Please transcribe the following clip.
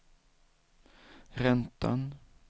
räntan